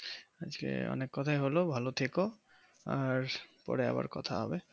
আজকে অনেক কথা হলো ভালো থেকে আর পরে আবার কথা হবে